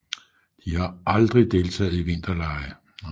De har aldrig deltaget i vinterlege